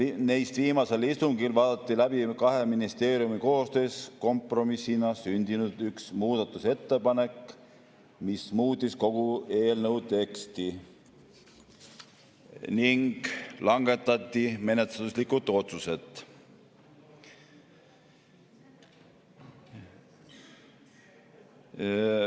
Neist viimasel istungil vaadati läbi kahe ministeeriumi koostöös kompromissina sündinud muudatusettepanek, mis muutis kogu eelnõu teksti, ning langetati menetluslikud otsused.